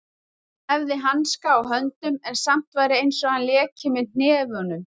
Hann hefði hanska á höndum en samt væri einsog hann léki með hnefunum.